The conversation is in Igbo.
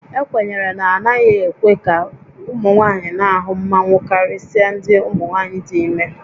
Ekwenyere na a naghị ekwe ka ụmụ nwaanyị na-ahụ mmanwu karịsịa ndị umunwaayị dị ime